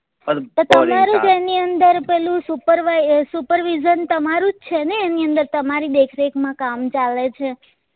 તમારું જ એની અંદર પેલું supervision તમારું જ છે ને એની અંદર તમારી દેખ રેખ માં કામ ચાલે છે